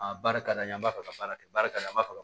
Aa barika d'an ye an b'a fɛ ka baara kɛ baara ka fa